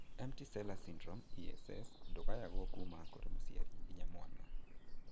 Empty sella syndrome (ESS) ndũgayagwo kuma kũrĩ mũciari nginya mwana?